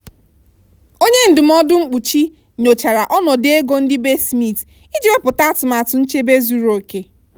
onye ndụmọdụ mkpuchi nyochara ọnọdụ ego ndị be smith iji wepụta atụmatụ nchebe zuru oke.